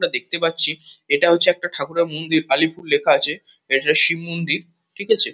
--মরা দেখতে পাচ্ছি এটা হচ্ছে একটা ঠাকুরের মন্দির কালিপুর লেখা আছে। এটা শিব মন্দির ঠিক আছে?